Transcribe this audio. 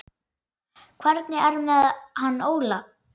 Hvernig er með hann Óla?